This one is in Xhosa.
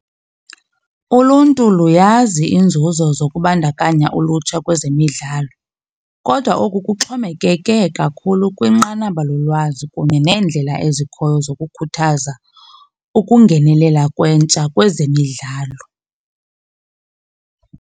Uluntu luyazi iinzuzo zokubandakanya ulutsha kwezemidlalo kodwa oku kuxhomekeke kakhulu kwinqanaba lolwazi kunye neendlela ezikhoyo zokukhuthaza ukungenelela kwentsha kwezemidlalo.